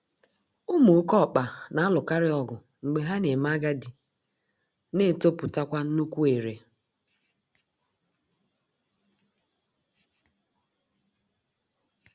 Ụmụ oké ọkpa na-alụkarịọgụ mgbe ha na-eme agadi na-etopụtakwa nnukwu ere